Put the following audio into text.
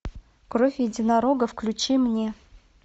кровь единорога включи мне